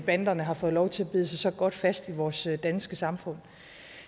banderne har fået lov til at bide sig så godt fast i vores danske samfund